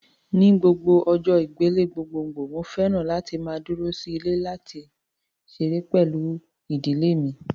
Ni gbogbo ọjọ́ ìgbélé gbogbogbòò mo fẹ́ràn láti máa dúró sí ilé àti láti ṣeré pẹ̀lú ìdílé mi